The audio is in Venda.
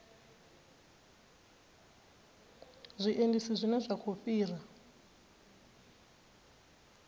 zwiendisi zwine zwa khou fhira